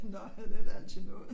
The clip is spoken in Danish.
Nå det da altid noget